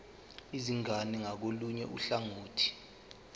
izingane ngakolunye uhlangothi